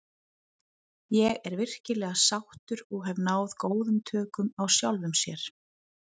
Ég er virkilega sáttur og hef náð góðum tökum á sjálfum sér.